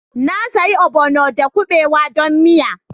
Na sayi ogbono da kuɓewa don miya